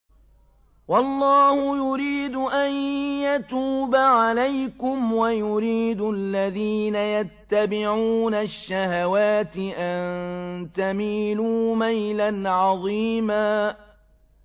وَاللَّهُ يُرِيدُ أَن يَتُوبَ عَلَيْكُمْ وَيُرِيدُ الَّذِينَ يَتَّبِعُونَ الشَّهَوَاتِ أَن تَمِيلُوا مَيْلًا عَظِيمًا